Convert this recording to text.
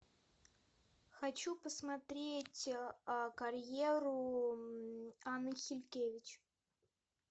хочу посмотреть карьеру анны хилькевич